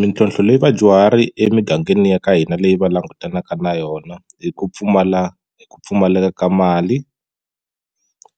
Mitlhontlho leyi vadyuhari emigangeni ya ka hina leyi va langutanaka na yona i ku pfumala i ku pfumaleka ka mali